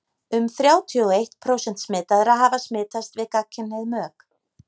um þrjátíu og einn prósent smitaðra hafa smitast við gagnkynhneigð mök